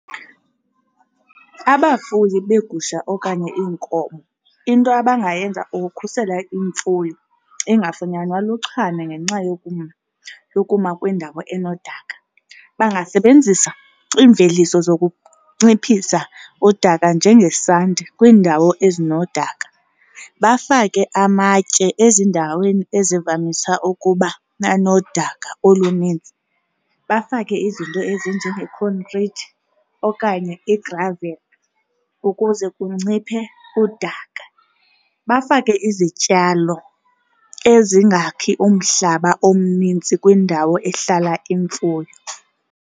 Abafuyi beegusha okanye iinkomo into abangayenza ukukhusela imfuyo ingafumanywana luchwane ngenxa yokuma kwiindawo enodaka. Bangasebenzisa iimveliso zokunciphisa udaka njengesanti kwiindawo ezinodaka. Bafake amatye ezindaweni ezivamisa ukuba nodaka olunintsi. Bafake izinto ezinjenge-concrete okanye i-gravel ukuze kunciphe udaka. Bafake izityalo ezingakhi umhlaba omninzi kwindawo ehlala imfuyo.